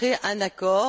un accord.